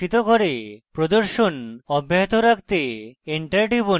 প্রদর্শন অব্যাহত রাখতে enter লিখুন